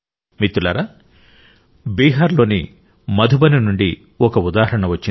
మిత్రులారా బీహార్లోని మధుబని నుండి ఒక ఉదాహరణ వచ్చింది